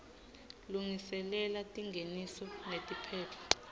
lungiselela tingeniso netiphetfo